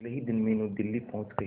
अगले ही दिन मीनू दिल्ली पहुंच गए